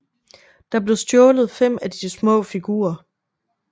Der blev stjålet fem af de små figurer